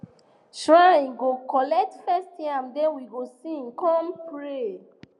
shrine go collect first yam then we go sing come pray